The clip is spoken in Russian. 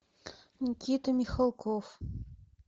никита михалков